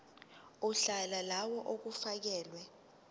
uhla lawo olufakelwe